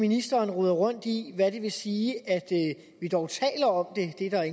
ministeren roder rundt i hvad det vil sige at vi dog taler om det det er der